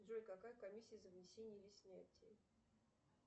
джой какая комиссия за внесение или снятие